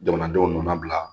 Jamanadenw nana bila